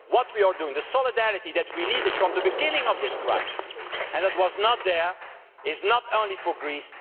So what we are doing with the solidarity that we needed from the beginning of this crisis but which was not there is not only for Greece